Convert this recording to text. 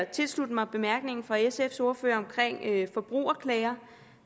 tilslutte mig bemærkningen fra sfs ordfører om forbrugerklager